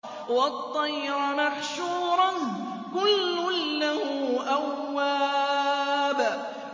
وَالطَّيْرَ مَحْشُورَةً ۖ كُلٌّ لَّهُ أَوَّابٌ